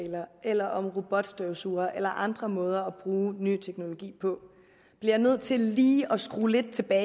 eller om robotstøvsugere eller andre måder at bruge ny teknologi på bliver nødt til lige at skrue lidt